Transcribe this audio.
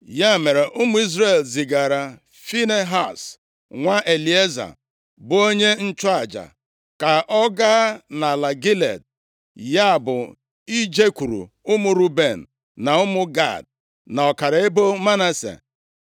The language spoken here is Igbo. Ya mere, ụmụ Izrel zigara Finehaz, nwa Elieza, bụ onye nchụaja ka ọ ga nʼala Gilead, ya bụ ijekwuru ụmụ Ruben, na ụmụ Gad, na ọkara ebo Manase.